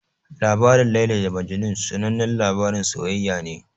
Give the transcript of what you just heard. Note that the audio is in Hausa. Labarin Laila da Majnun sanannen labarin soyayya ne.